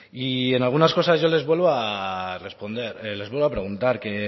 y en algunas cosas yo les vuelvo a preguntar que